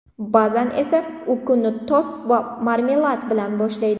Ba’zan esa u kunni tost va marmelad bilan boshlaydi.